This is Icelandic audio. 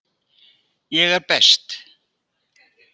Ég er best.